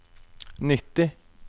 nitti